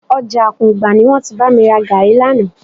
Ọjà Àkùngbá ni wọ́n ti bá mi ra gàárì lánàá